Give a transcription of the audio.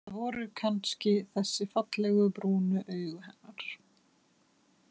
Það voru kannski þessi fallegu, brúnu augu hennar.